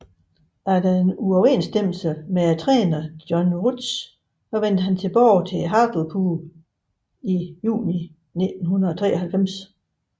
Efter en uoverensstemmelse med træneren John Rudge vendte han tilbage til Hartlepool i juni 1993